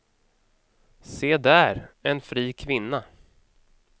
Se där, en fri kvinna.